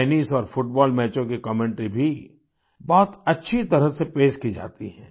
tennis और football मैचों की कमेंटरी भी बहुत अच्छी तरह से पेश की जाती है